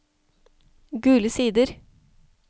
Gule Sider